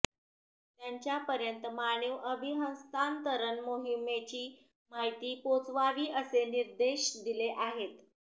त्यांच्या पर्यंत मानीव अभिहस्तांतरण मोहिमेची माहिती पोहचवावी असे निर्देश दिले आहेत